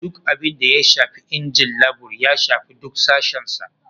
Duk abin da ya shafi injin labur, ya shafi duk sashen sa.